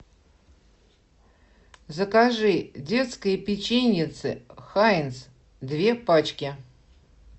закажи детское печеньице хайнц две пачки